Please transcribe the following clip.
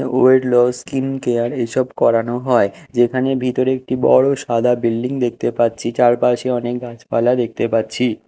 Wait loss skincare এসব করানো হয় যেখানে ভিতরে একটি বড় সাদা বিল্ডিং দেখতে পাচ্ছি চারপাশে অনেক গাছপালা দেখতে পাচ্ছি।